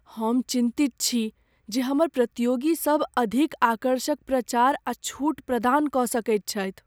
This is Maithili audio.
हम चिन्तित छी जे हमर प्रतियोगीसभ अधिक आकर्षक प्रचार आ छूट प्रदान कऽ सकैत छथि।